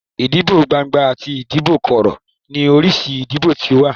Idibo gbangba ati idibo koro ni orisi idibo ti o wa